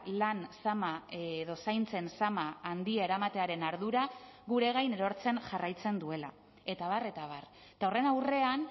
lan zama edo zaintzen zama handia eramatearen ardura gure gain erortzen jarraitzen duela eta abar eta abar eta horren aurrean